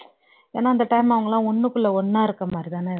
ஏன்னா அந்த time அவங்க எல்லாம் ஒன்னுக்குள்ள ஒன்னா இருக்குற மாதிரிதான இருப்பாங்க